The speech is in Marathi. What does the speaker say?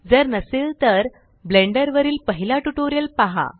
जर नसेल तर ब्लेंडर वरील पहिला ट्यूटोरियल पहा